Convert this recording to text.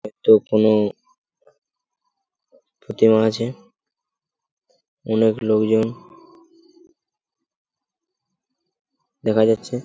এটা কোনো প্রতিমা আছে অনেক লোকজন দেখা যাচ্ছে।